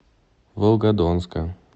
волгодонска